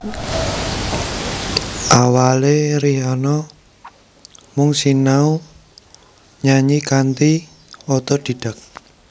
Awalé Rihanna mung sinau nyanyi kanthi otodidak